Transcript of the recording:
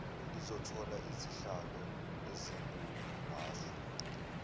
lizothola izihlalo ezinguhhafu